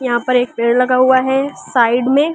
यहां पर एक पेड़ लगा हुआ है साइड में--